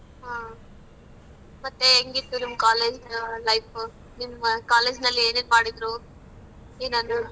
ಹ. ಮತ್ತೆ ಹೆಂಗಿತ್ತು ನಿಮ್ college ಆ life ಉ? ನಿಮ್ಮ college ನಲ್ಲಿ ಏನೇನ್ ಮಾಡಿದ್ರು? ಏನಾದ್ರೂ.